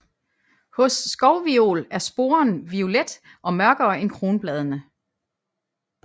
Hos skovviol er sporen violet og mørkere end kronbladene